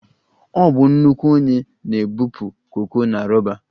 Ọ bụ nnukwu onye na-ebupụ koko na roba